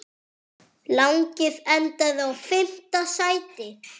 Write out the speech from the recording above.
Lagið endaði í fimmta sæti.